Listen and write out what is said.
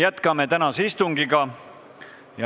Jätkame tänast istungit.